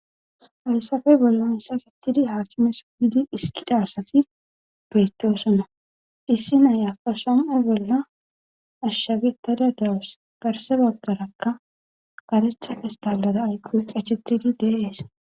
Hasape bolla hissakettidi haakimesuidi hiskida asati beeteosona issi nayafasom7a bolla ashshafitada dawus garsebagarakka garetha istalada ayqu qachettidi deeees